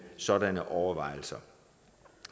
sådanne overvejelser